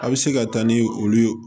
A bɛ se ka taa ni olu ye